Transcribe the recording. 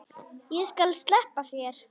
Ég skal sleppa þér.